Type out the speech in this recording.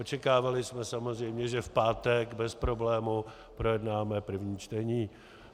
Očekávali jsme samozřejmě, že v pátek bez problému projednáme první čtení.